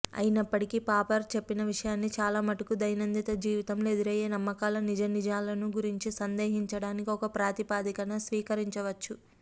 అయినప్పటికీ పాపర్ చెప్పిన విషయాన్ని చాలామటుకు దైనందిన జీవితంలో ఎదురయ్యే నమ్మకాల నిజానిజాలను గురించి సందేహించడానికి ఒక ప్రాతిపదికగా స్వీకరించవచ్చు